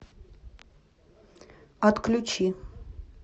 отключи